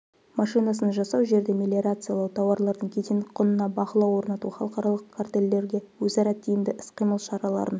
машинасын жасау жерді мелиорациялау тауарлардың кедендік құнына бақылау орнату халықаралық картелдерге өзара тиімді іс-қимыл шараларын